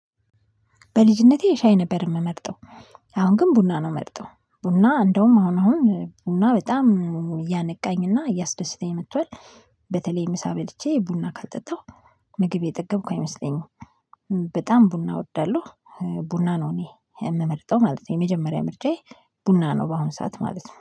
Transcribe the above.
በልጅነቴ ሻይ ነበር የምመርጠው አሁን ግን ቡና ነው ምመርጠው። ቡና እንደውም አሁን አሁን ቡና በጣም እያነቃኝ እና እያስደሰተኝ መጥቷል። በተለይ ምሳ በልቼ ቡና ካልጠጣሁ ምግብ የጠገብኩ አይመስለኝም። በጣም ቡና እወዳለሁ። ቡና ነው እኔ የምመርጠው ማለት ነው። የመጀመሪያ ምርጫዬ ቡና ነው በአሁን ሰዓት ማለት ነው